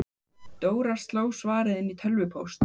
Dóra sló svarið inn í tölvupóst.